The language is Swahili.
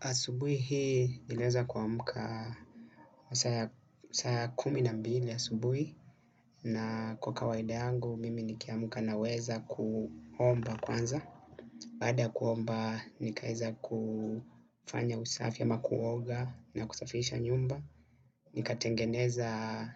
Asubuhi hii niliweza kuamka masaa ya kumi na mbili asubuhi na kwa kawaida yangu mimi nikiamka na weza kuomba kwanza. Baqda kuomba nikaeza kufanya usafi ama kuoga na kusafisha nyumba. Nikatengeneza